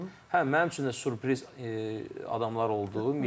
Hə, mənim üçün də sürpriz adamlar oldu.